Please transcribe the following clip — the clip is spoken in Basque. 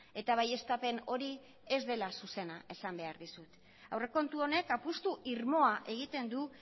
eta baieztapen hori ez dela zuzena esan behar dizut aurrekontu honek apustu irmoa egiten du